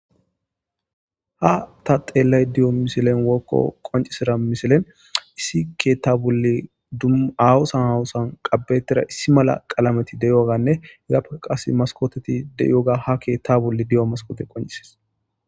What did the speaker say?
ha ta xeellay di7o misilen wokko qoncisira misilen issi keetta bolli dum awosan hawosan qabetira issi mala qalameti de7oganne egappea qas maskoteti de7ioga ha keetta bolli di7o maskote qoncises